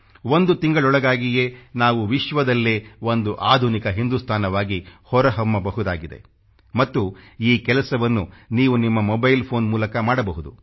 ಒಂದು ತಿಂಗಳೊಳಗಾಗಿಯೇ ನಾವು ವಿಶ್ವದಲ್ಲೇ ಒಂದು ಆಧುನಿಕ ಹಿಂದುಸ್ತಾನವಾಗಿ ಹೊರಹೊಮ್ಮಬಹುದಾಗಿದೆ ಮತ್ತು ಈ ಕೆಲಸವನ್ನು ನೀವು ನಿಮ್ಮ ಮೊಬೈಲ್ ಫೋನ್ ಮೂಲಕ ಮಾಡಬಹುದು